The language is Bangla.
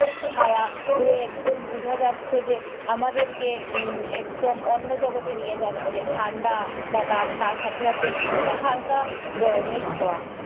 হাওয়া পুরো একদম বুঝা যাচ্ছে যে আমাদেরকে একদম অন্য জগতে নিয়ে যাচ্ছে। ঠাণ্ডা বা তার তার সাথে সাথে হালকা গরমের ছোঁয়া।